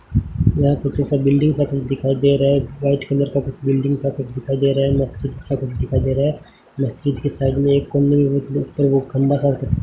यहाँ पे जैसा बिल्डिंग सा कुछ दिखाई दे रहा हैं व्हाइट कलर का बिल्डिंग सा कुछ दिखाई दे रहा हैं मस्जिद सा कुछ दिखाई दे रहा हैं मस्जिद के साइड में एक कोने में लगता है खंबा सा --